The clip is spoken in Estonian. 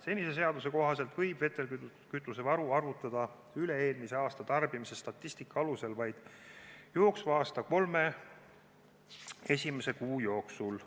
Senise seaduse kohaselt võib vedelkütusevaru arvutada üle-eelmise aasta tarbimise statistika alusel vaid jooksva aasta kolme esimese kuu jooksul.